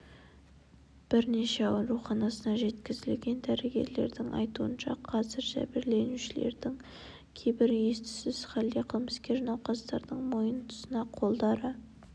бірнеше ауруханасына жеткізілген дәрігерлердің айтуынша қазір жәбірленушілердің кейбірі ес-түссіз халде қылмыскер науқастардың мойын тұсына қолдары